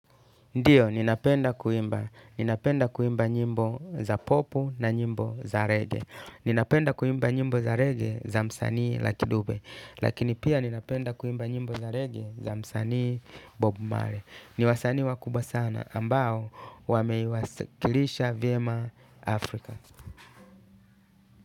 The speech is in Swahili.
Ndio, ninapenda kuimba. Ninapenda kuimba nyimbo za popu na nyimbo za rege. Nina penda kuimba nyimbo za rege za msanii lucky dube. Lakini pia ninapenda kuimba nyimbo za rege za msanii bob marley. Ni wasanii wakubwa sana ambao wameiwasikilisha vyema Afrika.